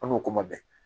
An n'o kuma bɛɛ